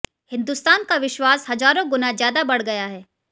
हिंदुस्तान का विश्वास हजारों गुना ज्यादा बढ़ गया है